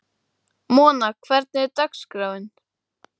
Mona, hvernig er dagskráin?